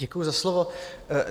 Děkuju za slovo.